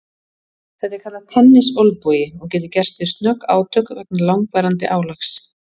Þetta er kallað tennisolnbogi og getur gerst við snögg átök vegna langvarandi álags.